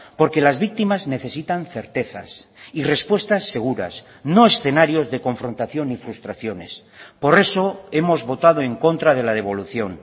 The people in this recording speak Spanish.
porque las víctimas necesitan certezas y respuestas seguras no escenarios de confrontación y frustraciones por eso hemos votado en contra de la devolución